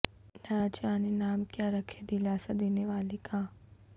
نہ جانے نام کیا رکھیں دلاسہ دینے والے کا